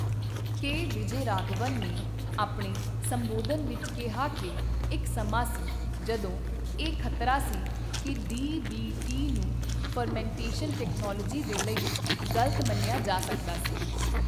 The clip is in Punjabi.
ਕੇ ਵਿਜੈਯਰਾਘਵਨ ਨੇ ਆਪਣੇ ਸੰਬੋਧਨ ਵਿੱਚ ਕਿਹਾ ਕਿ ਇੱਕ ਸਮਾਂ ਸੀ ਜਦੋਂ ਇਹ ਖ਼ਤਰਾ ਸੀ ਕਿ ਡੀਬੀਟੀ ਨੂੰ ਫਰਮੈਂਟੇਸ਼ਨ ਟੈਕਨੋਲੋਜੀ ਦੇ ਲਈ ਗ਼ਲਤ ਮੰਨਿਆ ਜਾ ਸਕਦਾ ਸੀ।